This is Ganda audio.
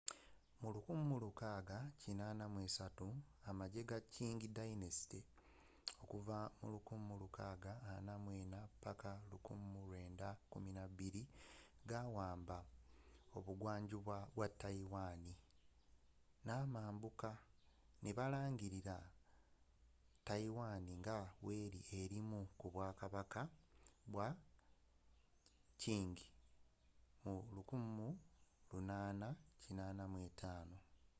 mu 1683 amajje ga qing dynasty1644-1912 gawamba obuvanjuba bwa taiwan n'amambuka ne balangirira taiwan nga weri erimu ku bwakabaka bwa qing mu 1885